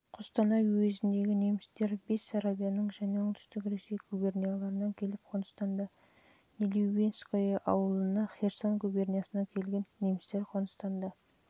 қостанай уезіндегі немістер бессарабияның және оңтүстік ресей губернияларынан келіп қоныстанды нелюбинское ауылын херсон губерниясынан келген немістер